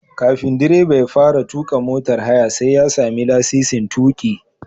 Kafin direba ya fara tuƙa motar haya sai ya sami lasisin tuƙi.